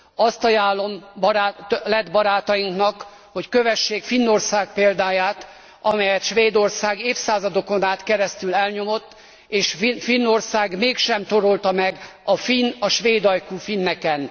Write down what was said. Azt ajánlom lett barátainknak, hogy kövessék Finnország példáját, amelyet Svédország évszázadokon át keresztül elnyomott, és Finnország mégsem torolta meg a svédajkú finneken.